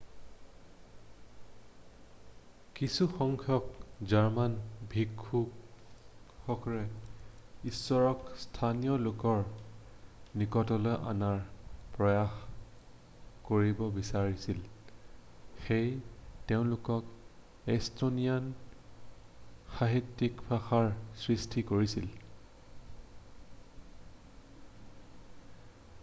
কিছুসংখ্যক জাৰ্মান ভিক্ষুৱে ইশ্বৰক স্থানীয় লোকৰ নিকটলৈ অনাৰ প্ৰয়াস কৰিব বিচাৰিছিল সেয়ে তেওঁলোকে ইষ্টনিয়ান সাহিত্যিক ভাষাৰ সৃষ্টি কৰিছিল